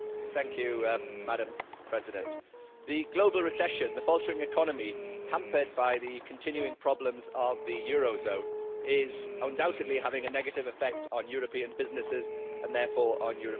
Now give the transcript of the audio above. Madam President, the global recession and the faltering economy hampered by the continuing problems of the euro zone are undoubtedly having a negative effect on European businesses and therefore on European jobs.